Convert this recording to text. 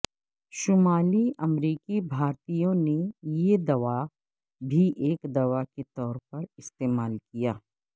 شمالی امریکی بھارتیوں نے یہ دوا بھی ایک دوا کے طور پر استعمال کیا